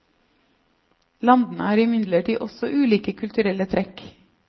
Landene har imidlertid også ulike kulturelle trekk.